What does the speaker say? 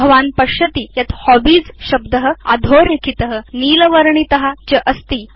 भवान् पश्यति यत् हॉबीज शब्द अधोरेखित नीलवर्णित च अस्ति